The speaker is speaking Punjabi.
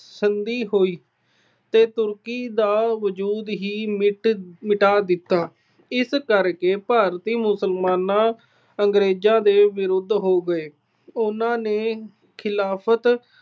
ਸੰਧੀ ਹੋਈ ਤੇ Turkey ਦਾ ਵਜੂਦ ਹੀ ਮਿਟ ਅਹ ਮਿਟਾ ਦਿੱਤਾ। ਇਸ ਕਰਕੇ ਭਾਰਤੀ ਮੁਸਲਮਾਨ ਅੰਗਰੇਜਾਂ ਦੇ ਵਿਰੁੱਧ ਹੋ ਗਏ। ਉਹਨਾਂ ਨੇ ਖਿਲਾਫਤ